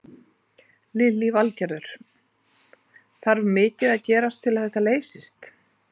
Lillý Valgerður: Þarf mikið að gerast til að þetta leysist?